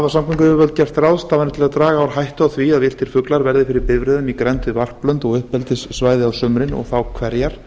samgönguyfirvöld gert ráðstafanir til að draga úr hættu á því að villtir fuglar verði fyrir bifreiðum í grennd við varplönd og uppeldissvæði á sumrin og þá hverjar